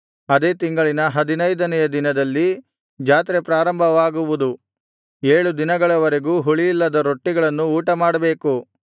ಅದೇ ತಿಂಗಳಿನ ಹದಿನೈದನೆಯ ದಿನದಲ್ಲಿ ಜಾತ್ರೆ ಪ್ರಾರಂಭವಾಗುವುದು ಏಳು ದಿನಗಳವರೆಗೂ ಹುಳಿಯಿಲ್ಲದ ರೊಟ್ಟಿಗಳನ್ನು ಊಟಮಾಡಬೇಕು